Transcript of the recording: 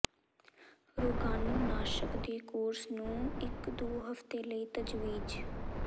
ਰੋਗਾਣੂਨਾਸ਼ਕ ਦੇ ਕੋਰਸ ਨੂੰ ਇੱਕ ਦੋ ਹਫ਼ਤੇ ਲਈ ਤਜਵੀਜ਼